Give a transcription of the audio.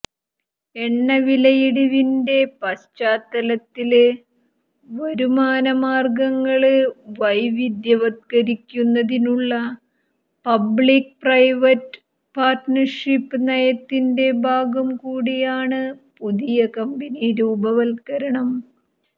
എണ്ണവിലയിടിവിന്റെ പശ്ചാത്തലത്തില് വരുമാന മാര്ഗങ്ങള് വൈവിധ്യവത്കരിക്കുന്നതിനുള്ള പബ്ലിക് പ്രൈവറ്റ് പാര്ട്ണര്ഷിപ്പ് നയത്തിന്റെ ഭാഗം കൂടിയാണ് പുതിയ കമ്പനി രൂപവത്കരണം